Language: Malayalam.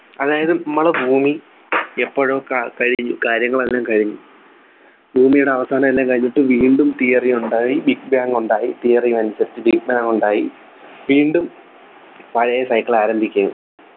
അതായത് നമ്മളെ ഭൂമി എപ്പോഴോ ക കഴിഞ്ഞു കാര്യങ്ങളെല്ലാം കഴിഞ്ഞ് ഭൂമിയുടെ അവസാനം എല്ലാം കഴിഞ്ഞിട്ട് വീണ്ടും Theory ഉണ്ടായി Big Bang ഉണ്ടായി Theory അനുസരിച്ചു Big Bang ഉണ്ടായി വീണ്ടും പഴയ cycle ആരംഭിക്കുകയും